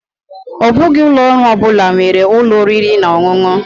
Ọ bụghị ụlọ ọrụ ọ bụla nwere ụlọ oriri na ọṅụṅụ.